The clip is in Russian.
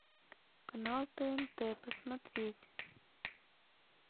канал тнт посмотреть